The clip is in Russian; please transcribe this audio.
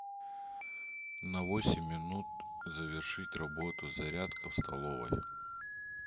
на восемь минут завершить работу зарядка в столовой